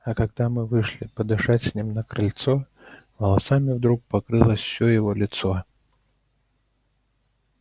а когда мы вышли подышать с ним на крыльцо волосами вдруг покрылось все его лицо